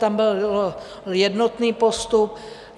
Tam byl jednotný postup.